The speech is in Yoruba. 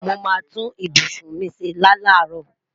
Mo mà tún ìbùṣún mi ṣẹ́ lá laro